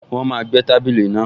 Wọ́n máa gbẹ́ tábìlì náà